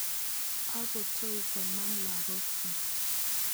Akotoi konam lakok chuk.